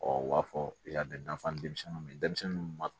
u b'a fɔ i y'a mɛn dafa ni denmisɛnninw ye denmisɛnnin minnu